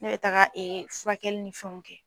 Ne bɛ taga furakɛli nin fɛnw kɛ.